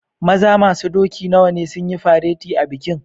Maza masun doki nawa ne sun yi fareti a'bikin?